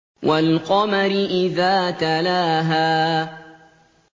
وَالْقَمَرِ إِذَا تَلَاهَا